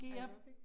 Aerobic?